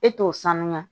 E t'o sanuya